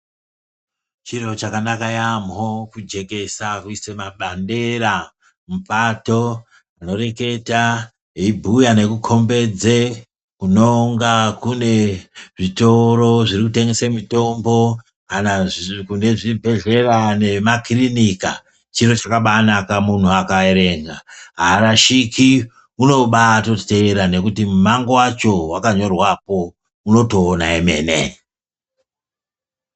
Chiro chakana yamho kujekesa kuise mabandera mupato , anoreketa eibhuya nekukombedze kunonga kune zvitoro zvirikutengese mitombo , kana kune zviri zvibhedhlera nemakirinika chiro chakabanaka munhu akaerenga arashiki unobatoteeranekuti mumango wacho wakanyorwapo unotoona emene.